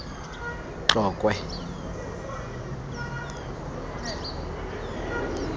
tlokwe